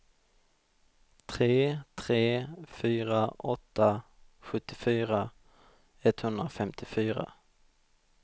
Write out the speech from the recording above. tre tre fyra åtta sjuttiofyra etthundrafemtiofyra